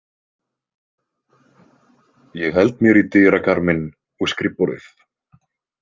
Ég held mér í dyrakarminn og skrifborðið.